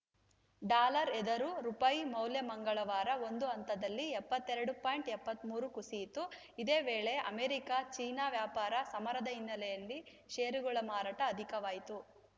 dollar ಎದುರು ರುಪಾಯಿ ಮೌಲ್ಯ ಮಂಗಳವಾರ ಒಂದು ಹಂತದಲ್ಲಿ ಎಪ್ಪತ್ತೆರಡು ಪಾಯಿಂಟ್ ಎಪ್ಪತ್ತ್ ಮೂರು ರು ಕುಸಿಯಿತು ಇದೇ ವೇಳೆ ಅಮೆರಿಕ ಚೀನಾ ವ್ಯಾಪಾರ ಸಮರದ ಹಿನ್ನೆಲೆಯಲ್ಲಿ ಷೇರುಗಳ ಮಾರಾಟ ಅಧಿಕವಾಯಿತು